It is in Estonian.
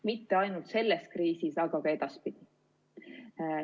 Mitte ainult selles kriisis, aga ka edaspidi.